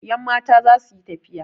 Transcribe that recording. Yanmata za su yi tafiya.